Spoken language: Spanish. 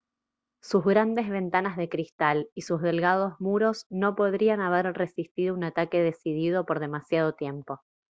sus grandes ventanas de cristal y sus delgados muros no podrían haber resistido un ataque decidido por demasiado tiempo